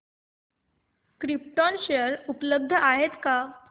krypton share उपलब्ध आहेत का